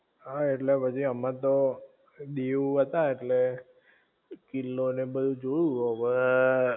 હા એટલે પછી અમે તો દીવ હતા ઍટલે કિલ્લો ને બધુ જોયું હવ